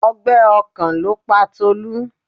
Ọgbẹ́ ọkàn ló pa Tolu.